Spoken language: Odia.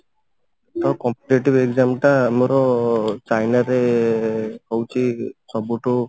ତ competitive exam ଟା ଆମର ଚାଇନାରେ ହଉଛି ସବୁଠୁ